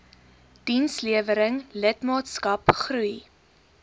dienslewering lidmaatskap groei